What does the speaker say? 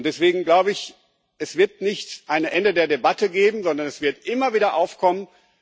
Und deswegen glaube ich, es wird kein Ende der Debatte geben, sondern sie wird immer wieder aufkommen.